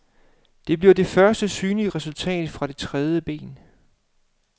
Det bliver det første synlige resultat fra det tredje ben.